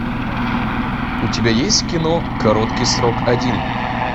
у тебя есть кино короткий срок один